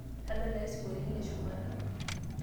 tadalayu sinkoliotin le shumata